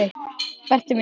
Berti minn.